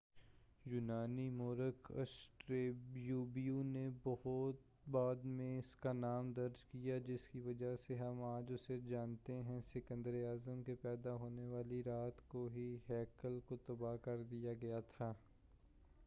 یونانی موّرخ آسٹریبو نے بعد میں اسکا نام درج کیا جسکی وجہ سے ہم آج اسے جانتے ہیں سکندر اعظم کے پیدا ہونے والی رات کو ہی ہیکل کو تباہ کر دیا گیا تھا